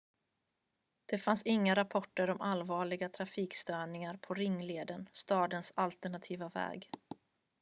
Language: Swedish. det fanns inga rapporter om allvarliga trafikstörningar på ringleden stadens alternativa väg